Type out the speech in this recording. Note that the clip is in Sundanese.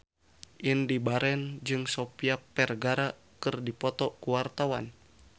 Indy Barens jeung Sofia Vergara keur dipoto ku wartawan